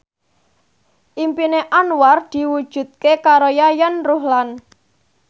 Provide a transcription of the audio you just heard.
impine Anwar diwujudke karo Yayan Ruhlan